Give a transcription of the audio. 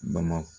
Bama